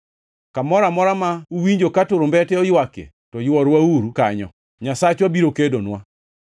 Kamoro amora ma uwinjo ka turumbete oywakie, to yworwauru kanyo. Nyasachwa biro kedonwa!”